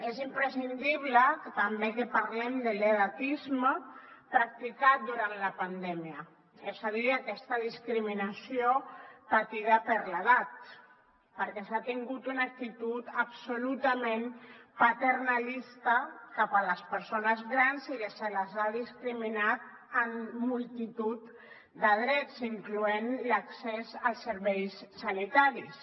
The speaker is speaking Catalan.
és imprescindible també que parlem de l’edatisme practicat durant la pandèmia és a dir aquesta discriminació patida per l’edat perquè s’ha tingut una actitud absolutament paternalista cap a les persones grans i se les ha discriminat en multitud de drets incloent hi l’accés als serveis sanitaris